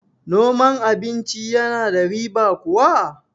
noman abinci yana da riba kuwa?